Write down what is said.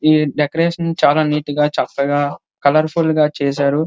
ఈ డెకరేషన్ చాలా నీటుగా చక్కగా కలర్ఫుల్గా చేశారు.